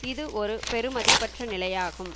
இது ஒரு பெறுமதியற்ற நிலமையாகும்